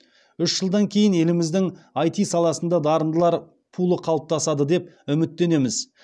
үш жылдан кейін еліміздің іт саласында дарындылар пулы қалыптасады деп үміттенеміз